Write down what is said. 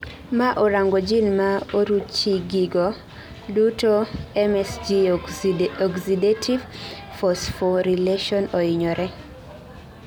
mao orango jin ma oruchigigo duto msg oxidative phosphorylation ohinyore